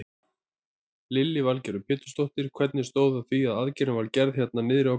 Lillý Valgerður Pétursdóttir: Hvernig stóð á því að aðgerðin var gerð hérna niðri á gólfi?